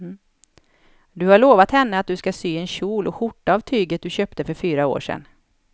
Du har lovat henne att du ska sy en kjol och skjorta av tyget du köpte för fyra år sedan.